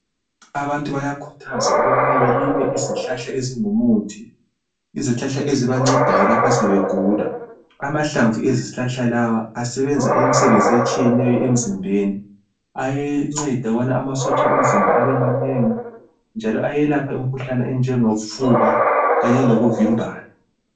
Abantu bayakhuthazwa ukuba balime izihlahla ezingumuthi, izihlahla ezibancedayo lapha sebegula amahlamvu ezihlahla lawa asebenza imisebenzi etshiyeneyo emzimbeni ayanceda ukuba amasotsha omzimba abe manengi njalo ayelapha imkhuhlane onjengofuba kanye lemvimbano.